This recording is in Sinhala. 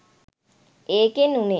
ඒකෙන් වුණේ